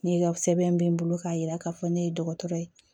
Ne ka sɛbɛn bɛ n bolo k'a yira k'a fɔ ne ye dɔgɔtɔrɔ ye